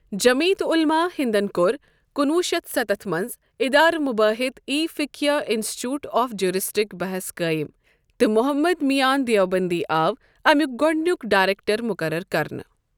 جمعیت عُلما ہِندن کوٚر کُنہ وُہ شتھ ستتھ مَنٛز ادارا مباہیتھ ای فقیہ انستیتوت آف جریسیٹک بحث قٲیِم تہٕ محمد مییان دیوبندی آو اَمِیُک گۄڑنیک ڈائریکٹر مقرر کَرنہٕ.